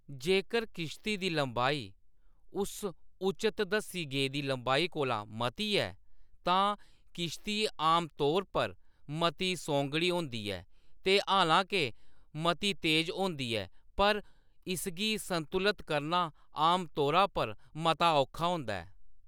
जेकर किश्ती दी लम्बाई उस उचत दस्सी गेदी लम्बाई कोला मती ऐ, तां किश्ती आमतौर पर मती सौंगड़ी होंदी ऐ, ते हालां-के मती तेज होंदी ऐ पर इसगी संतुलत करना आमतौरा पर मता औखा होंदा ऐ।